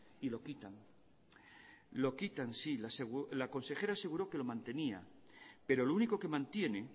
y lo quitan lo quitan sí la consejera aseguró que lo mantenía pero lo único que mantiene